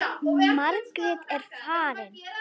Margrét er farin.